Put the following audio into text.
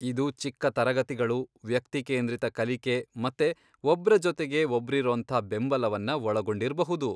ಇದು ಚಿಕ್ಕ ತರಗತಿಗಳು, ವ್ಯಕ್ತಿ ಕೇಂದ್ರಿತ ಕಲಿಕೆ ಮತ್ತೆ ಒಬ್ರ ಜೊತೆಗೆ ಒಬ್ರಿರೋಂಥ ಬೆಂಬಲವನ್ನ ಒಳಗೊಂಡಿರ್ಬಹುದು.